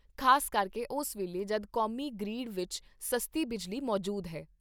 ਖ਼ਾਸ ਕਰਕੇ ਉਸ ਵੇਲੇ ਜਦ ਕੌਮੀ ਗ੍ਰਿਡ ਵਿਚ ਸਸਤੀ ਬਿਜਲੀ ਮੌਜੂਦ ਹੈ।